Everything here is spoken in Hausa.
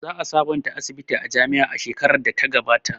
Za a sabonta asibitin jami'a shekarar da ta gabata